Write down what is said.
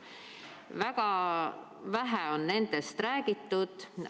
Väga vähe on nendest räägitud.